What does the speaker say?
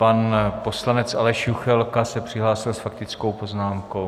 Pan poslanec Aleš Juchelka se přihlásil s faktickou poznámkou.